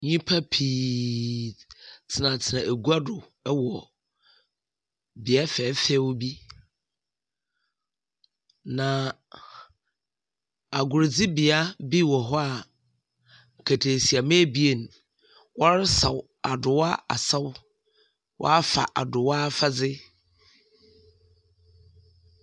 Nyimpa pii tsenatsena egua do wɔ bea fɛɛfɛw bi, na agorodzibea bi wɔ hɔ a nkataasiamba ebien wɔresaw Adowa asaw, wɔafa Adowa afadze.